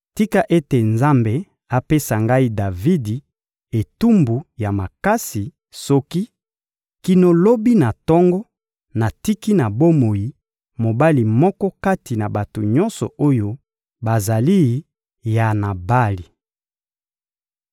Tika ete Nzambe apesa ngai Davidi etumbu ya makasi soki, kino lobi na tongo, natiki na bomoi mobali moko kati na bato nyonso oyo bazali ya Nabali!»